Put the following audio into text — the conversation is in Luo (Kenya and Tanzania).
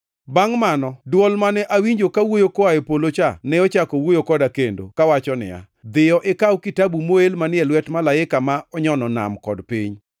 Bangʼ mano dwol mane awinjo kawuoyo koa e polo cha ne ochako wuoyo koda kendo kawacho niya, “Dhiyo, ikaw kitabu moel manie lwet malaika ma onyono nam kod piny.”